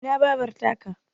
Ina Babar ta ka?